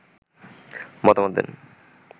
মতামত দেন